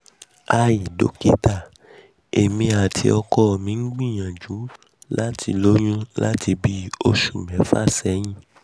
hi dokita emi ati ọkọ mi ti n um gbiyanju lati loyun lati oṣu mẹfa sẹyin